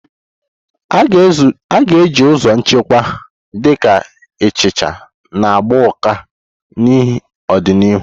A ga-eji ụzọ nchekwa, dị ka ihicha na gbaa ụka, n'ọdịnihu.